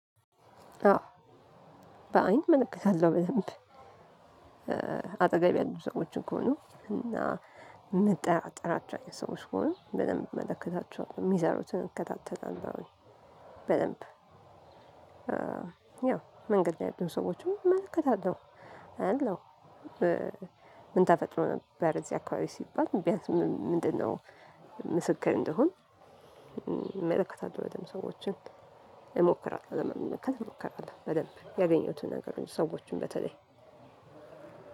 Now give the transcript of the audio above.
አዎ በአይን እመለከታለሁ በደንብ። አጠገብ ያሉ ሰዎችን ከሆኑ እና ምጠራጠራቸው አይንት ሰዎች ከሆኑ በድንብ እመለከታቸዋለሁ የሚሰሩትን እከታተላለሁ። በደንብ ያው መንገድ ያሉ ሰዎችን እመለከታለሁ። አያለው። ምን ተፈጥሮ ነበር እዚህ አካባቢ ሲባል ቢያንስ ምንድነው? ምስክር እንደሆን። እመለከታለው በድንብ ሰዎችን እሞክራለሁ ለመመልከት እሞክራለሁ በደንብ ያገኘሁትን ነገር ሰዎችን በተለይ።